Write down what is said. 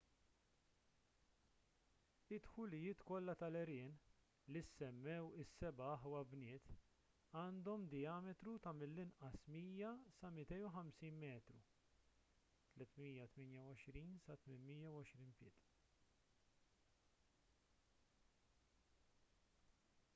id-dħulijiet kollha tal-għerien li ssemmew is-seba' aħwa bniet għandhom dijametru ta' mill-anqas 100 sa 250 metru 328 sa 820 pied